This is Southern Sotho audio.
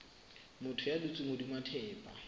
motho ya dutseng hodima thepa